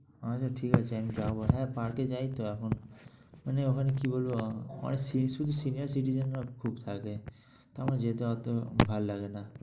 আচ্ছা ঠিক আছে আমি যাব হ্যাঁ, park এ যাই তো এখন। মানে ওখানে কী বলব অনেক সি~ শুধু senior citizen রা খুব থাকে। আমার যেতে অত ভাল লাগে না।